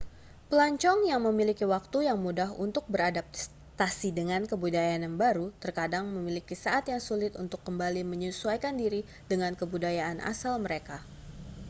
pelancong yang memiliki waktu yang mudah untuk beradaptasi dengan kebudayaan yang baru terkadang memiliki saat yang sulit untuk kembali menyesuaikan diri dengan kebudayaan asal mereka